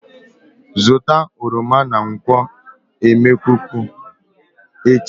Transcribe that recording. Zụta oroma na nkwo emekuku echi?